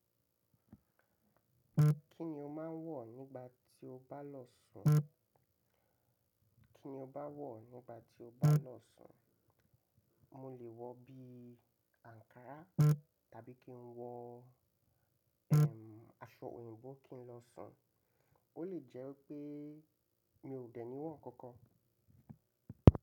Kí ni o máa ń wọ̀ nígbà tí o bá lọ sùn? Kí ni o bá wọ̀ nígbà tí o bá lọ sùn? Mo lè wọ bí àǹkárá tàbí kí n wọ, ehm, aṣọ òyìnbó kí n lọ sùn. Ó lè jẹ́ pé mi ò dẹ̀ ní wọ̀n kankan.